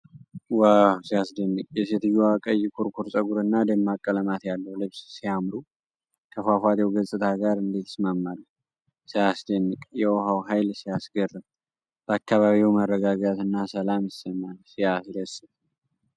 ዋው! ሲያስደንቅ! የሴትዮዋ ቀይ ኩርኩር ፀጉርና ደማቅ ቀለማት ያለው ልብስ ሲያምሩ! ከፏፏቴው ገጽታ ጋር እንዴት ይስማማሉ! ሲያስደንቅ! የውሃው ኃይል ሲያስገርም! በአካባቢው መረጋጋትና ሰላም ይሰማል። ሲያስደስት!